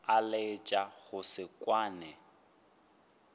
a laetša go se kwane